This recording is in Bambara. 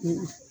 Unhun